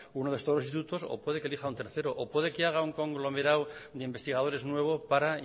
uno de estos dos institutos o puede que elija un tercero o puede que haga un conglomerado de investigadores nuevo para